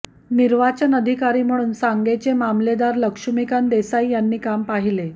निर्वाचन अधिकारी म्हणून सांगेचे मामलेदार लक्ष्मीकांत देसाई यांनी काम पाहिले